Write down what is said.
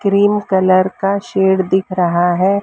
Cream colour का shade दिख रहा है।